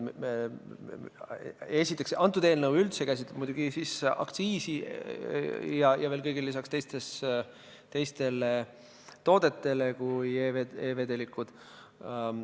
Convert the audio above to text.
Esiteks, see eelnõu ei puuduta üldse neid teemasid.